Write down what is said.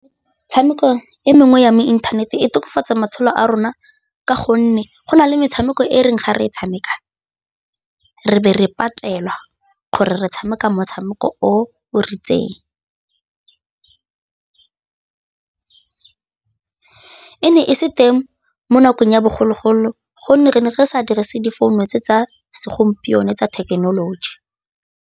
Metshameko e mengwe ya mo inthaneteng e tokafatsa matshelo a rona ka gonne go na le metshameko e e reng ga re e tshameka re be re patelwa gore re tshameka motshameko o ritseng, e ne e se teng mo nakong ya bogologolo gonne re ne re sa dirise difounu tse tsa segompieno tsa thekenoloji.